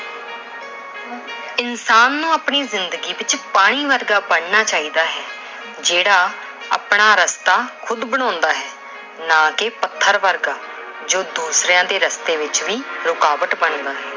ਇਨਸਾਨ ਨੂੰ ਆਪਣੀ ਜ਼ਿੰਦਗੀ ਵਿੱਚ ਪਾਣੀ ਵਰਗਾ ਬਣਨਾ ਚਾਹੀਦਾ ਏ ਜਿਹੜਾ ਆਪਣਾ ਰਸਤਾ ਖੁਦ ਬਣਾਉਂਦਾ ਏ। ਨਾ ਕਿ ਪੱਥਰ ਵਰਗਾ ਜੋ ਦੂਸਰਿਆਂ ਦੇ ਰਸਤੇ ਵਿੱਚ ਵੀ ਰੁਕਾਵਟ ਬਣਦਾ ਏ।